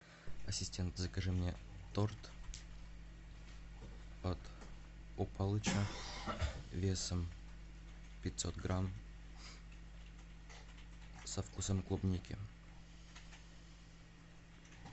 ассистент закажи мне торт от палыча весом пятьсот грамм со вкусом клубники